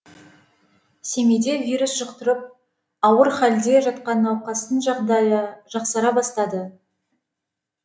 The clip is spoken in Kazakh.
семейде вирус жұқтырып ауыр халде жатқан науқастың жағдайы жақсара бастады